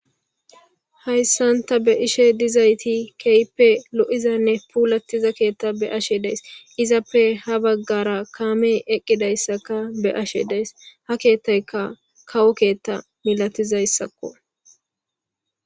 hayssanta be' ishe dizayti keyppe lo7izanne puulattiza keetta be ashe dees izappe ha baggara kaamey eqqidayssaka be ashe dees ha keettayka kawo keetta milatizayssakko